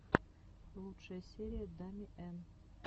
лучшая серия дами эн